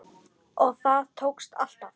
Og það tókst alltaf.